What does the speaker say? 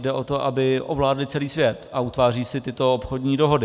Jde o to, aby ovládly celý svět, a utváří si tyto obchodní dohody.